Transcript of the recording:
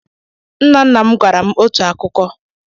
Nna nna m gwara m otu akụkọ.